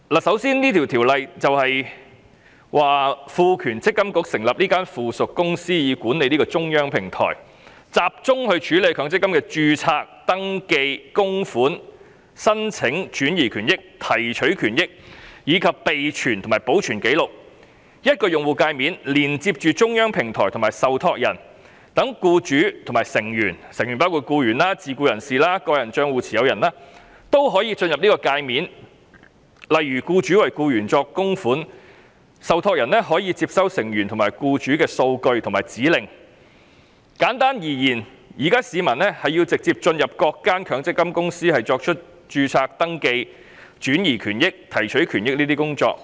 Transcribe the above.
首先，《條例草案》賦權積金局成立附屬公司以管理"積金易"平台，集中處理強積金的註冊、登記、供款、申請、轉移權益、提取權益，以及備存和保存紀綠。以一個用戶界面連接中央電子平台和受託人，讓僱主和成員均可進入有關界面，例如僱主為僱員作供款，受託人可以接收成員和僱主的數據和指令。簡單而言，現時市民要直接進入各間強積金公司的平台進行註冊、登記、轉移及提取權益等工作。